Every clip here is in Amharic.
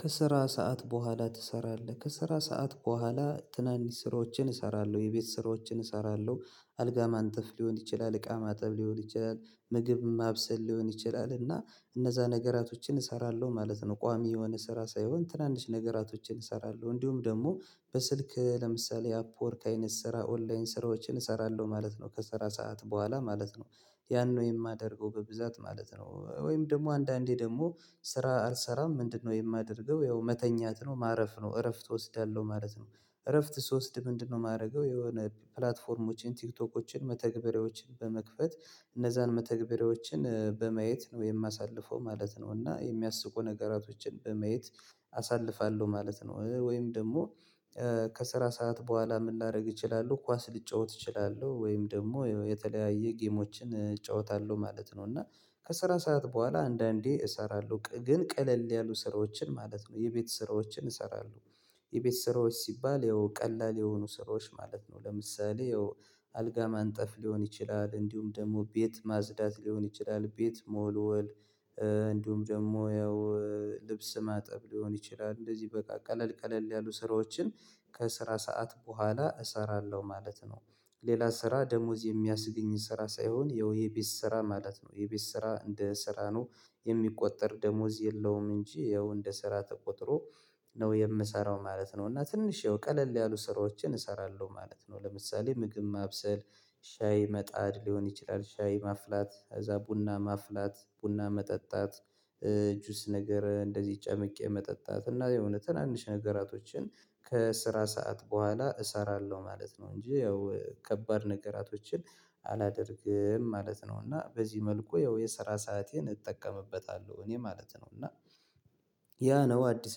ከስራ ሰዓት በኋላ ትሰራለህ ከስራ ሰዓት በኋላ ትናንሽ ስራዎችን እሰራለሁ የቤት ስራዎችን እሰራለሁ። አልጋ ማንጠፍ ሊሆን ይችላል እቃ ማጠብ ሊሆን ይችላል ምግብ ማብሰል ሊሆን ይችላል እና እነዛ ነገራቶችን እሰራለሁ ማለት ነው። ቋሚ የሆነ ስራ ሳይሆን ትናንሽ ነገራቶችን እሰራለሁ እንዲሁም ደግሞ በስልክ ለምሳሌ አፕወርክ አይነት ስራ ኦንላይን ስራዎችን እሰራለሁ ማለት ነው ከሰራ ሰዓት በኋላ ማለት ነው። ያን ነው የማደርገው በብዛት ማለት ነው። ወይም ደግሞ አንዳንዴ ደግሞ ስራ አልሰራም ምንድነው የማደርገው ያው መተኛት ነው ማረፍ ነው እረፍት እወስዳለሁ ማለት ነው። እረፍት ስወስድ ምንድነው? የማደርገው የሆነ ፕላትፎርሞችን ቲክቶኮችን መተግበሪያዎችን በመክፈት እነዛን መተግበሪያዎችን በማየት ነው የማሳልፈው ማለት ነው። እና የሚያስቁ ነገራቶችን በማየት አሳልፋለሁ ማለት ነው። ወይም ደግሞ ከስራ ሰዓት በኋላ ምን ላደርግ እችላለሁ ኳስ ልጫወት እችላለሁ ወይም ደግሞ የተለያየ ጌሞችን እጫወታለሁ ማለት ነው። እና ከስራ ሰዓት በኋላ አንዳንዴ እሰራለሁ ግን ቀለል ያሉ ስራዎችን ማለት ነው የቤት ስራዎችን እሰራለሁ። የቤት ስራዎች ሲባል ያው ቀላል የሆኑ ስራዎች ማለት ነው። ለምሳሌ አልጋ ማንጠፍ ሊሆን ይችላል እንዲሁም ደግሞ ቤት ማጽዳት ሊሆን ይችላል ቤት መወልወል ደግሞ ያው ልብስ ማጠብ ሊሆን ይችላል። እንደዚህ በቃ ቀለል ቀለል ያሉ ስራዎችን ከስራ ሰዓት በኋላ እሰራለሁ ማለት ነው። ሌላ ስራ ደሞዝ የሚያስገኝ ስራ ሳይሆን የውይ የቤት ስራ ማለት ነው። የቤት ስራ እንደ ስራ ነው የሚቆጠር ደሞወዝ የለውም። እንጂ ያው እንደ ስራ ተቆጥሮ ነው የምሰራው ማለት ነው። እና ትንሽ የውቀለል ያሉ ስራዎችን እሰራለሁ ማለት ነው። ለምሳሌ ምግብ ማብሰል ሻይ መጣድ ሊሆን ይችላል። ሻይ ማፍላት አዛ ቡና ማፍላት ቡና መጠጣት እጁስ ነገር እንደዚህ ጨምቄ መጠጣት እና የእውነት ትናንሽ ነገራቶችን ከስራ ሰዓት በኋላ እሰራለሁ ማለት ነው። እንጂ ያው ከባድ ነገራቶችን አላደርግም ማለት ነው። እና በዚህ መልኩ ያው የሰራ ሰአቴን እጠቀምበታለሁ እኔ ማለት ነው። እና ያ ነው አዲስ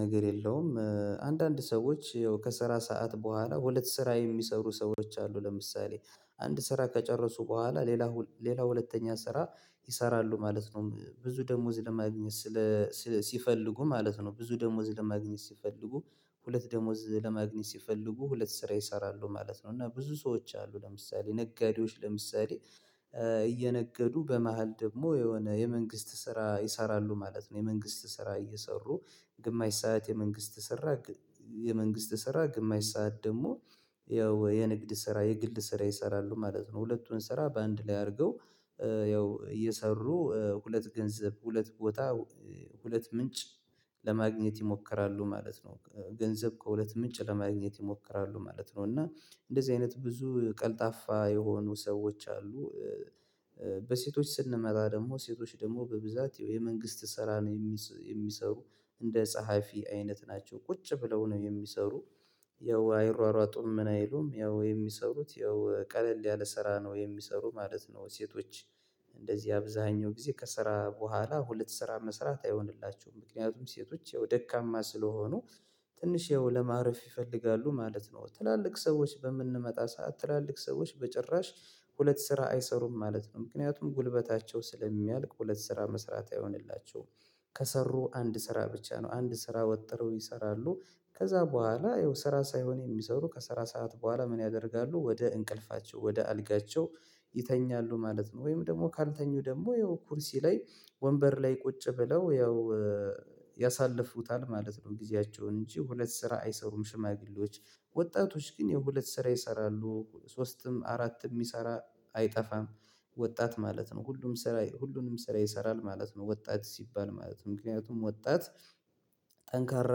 ነገር የለውም አንዳንድ ሰዎች ያው ከሰራ ሰዓት በኋላ ወደ ስራ የሚሰሩ ሰዎች አሉ። ለምሳሌ አንድ ስራ ከጨረሱ በኋላ ሌላ ሌላ ሁለተኛ ስራ ይሰራሉ ማለት ነው። ብዙ ደሞዝ ለማግኘት ስለ ሲፈልጉ ማለት ነው ብዙ ደሞዝ ለማግኘት ሲፈልጉ ሁለት ደሞዝ ለማግኘት ሲፈልጉ ሁለት ስራ ይሰራሉ ማለት ነው። እና ብዙ ሰዎች አሉ ለምሳሌ ነገዴዎች ለምሳሌ እየነገዱ በመሃል ደግሞ የሆነ የመንግስት ስራ ይሰራሉ ማለት ነው። የመንግስት ስራ እየሰሩ ግማሽ ሰዓት የመንግስት ሰራ የመንግስት ስራ ግማሽ ሰዓት ደግሞ ያው የንግድ ስራ የግል ስራ ይሰራሉ ማለት ነው። ሁለቱን ስራ በአንድ ላይ አድርገው ያው እየሰሩ ሁለት ገንዘብ ሁለት ቦታ ሁለት ምንጭ ለማግኘት ይሞክራሉ ማለት ነው። ገንዘብ ከሁለት ምንጭ ለማግኘት ይሞክራሉ ማለት ነው። እና እንደዚህ አይነት ብዙ ቀልጣፋ የሆኑ ሰዎች አሉ። በሴቶች ስንመጣ ደግሞ ሴቶች ደግሞ በብዛት የመንግስት ስራ ነው የሚሰሩ እንደ ጸሐፊ አይነት ናቸው። ቁጭ ብለው ነው የሚሰሩ ያው አይሯሯጡም ምን አይሉም ያው የሚሰሩት ያው ቀለል ያለ ስራ ነው የሚሰሩ ማለት ነው። ሴቶች እንደዚህ አብዛኛው ጊዜ ከስራ በኋላ ሁለት ስራ መስራት አይሆንላቸውም ምክንያቱም ሴቶች ደካማ ስለሆኑ ትንሽዬው ለማረፍ ይፈልጋሉ ማለት ነው። ትላልቅ ሰዎች በምንመጣ ሰዓት ትላልቅ ሰዎች በጭራሽ ሁለት ስራ አይሰሩም ማለት ነው። ምክንያቱም ጉልበታቸው ስለሚያልቅ ሁለት ስራ መስራት አይሆንላቸውም። ከሰሩ አንድ ስራ ብቻ ነው አንድ ስራ ወጥረው ይሰራሉ ከዛ በኋላ ይኸው ስራ ሳይሆን የሚሰሩ ከሰራ ሰዓት በኋላ ምን ያደርጋሉ ወደ እንቅልፋቸው ወደ አልጋቸው ይተኛሉ ማለት ነው። ወይም ደግሞ ካልተኙ ደግሞ ይኸው ኩርሲ ላይ ወንበር ላይ ቁጭ ብለው ያው ያሳለፉታል ማለት ነው። ጊዜያቸውን እንጂ ሁለት ስራ አይሰሩም። ሽማግሌዎች ወጣቶች ግን የሁለት ስራ ይሰራሉ ሶስትም አራትም የሚሰራ አይጠፋም። ወጣት ማለት ነው ሁሉም ስራ ሁሉንም ስራ ይሰራል ማለት ነው። ወጣት ሲባል ማለት ነው ምክንያቱም ወጣት ጠንካራ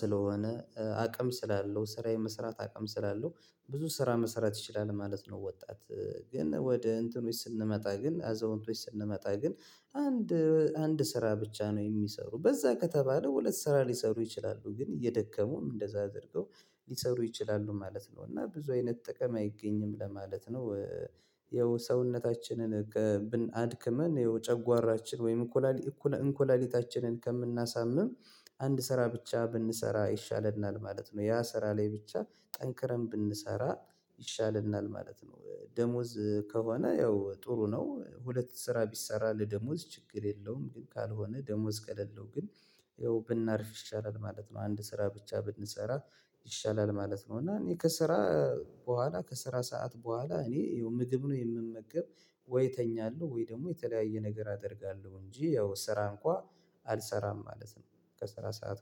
ስለሆነ አቅም ስላለው ስራ የመስራት አቅም ስላለው ብዙ ስራ መሰራት ይችላል ማለት ነው። ወጣት ግን ወደ እንትኖች ስንመጣ ግን አዘውንቶች ስንመጣ ግን አንድ አንድ ስራ ብቻ ነው የሚሰሩ በዛ ከተባለ ሁለት ስራ ሊሰሩ ይችላሉ ግን እየደከሙም እንደዛ አድርገው ሊሰሩ ይችላሉ ማለት ነው። እና ብዙ አይነት ጥቅም አይገኝም ለማለት ነው። የሰውነታችንን ብን አድክመን የውጨጓራችን ወይም እኮላሊ እኮላሊታችንን ከምናሳምም አንድ ስራ ብቻ ብንሰራ ይሻለናል ማለት ነው። ያ ስራ ላይ ብቻ ጠንክረን ብንሰራ ይሻለናል ማለት ነው። ደሞዝ ከሆነ ያው ጥሩ ነው ሁለት ስራ ቢሰራ ለደሞዝ ችግር የለውም ግን ካልሆነ ደሞዝ ከለለው ግን ያው ብናርፍ ይሻላል ማለት ነው። አንድ ስራ ብቻ ብንሰራ ይሻላል ማለት ነው። እና እኔ ከስራ በኋላ ከስራ ሰዓት በኋላ እኔ ምግብ ነው የምመገብ ወይ እተኛለሁ ወይ ደግሞ የተለያየ ነገር አደርጋለሁ እንጂ ያው ስራ እንኳን አልሰራም ማለት ነው ከስራ ሰዓት